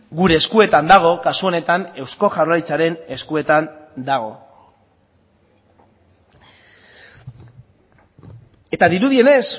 gure eskuetan dago kasu honetan eusko jaurlaritzaren eskuetan dago eta dirudienez